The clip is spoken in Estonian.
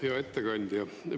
Hea ettekandja!